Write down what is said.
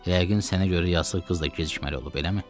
Yəqin sənə görə yazıq qız da gecikməli olub, eləmi?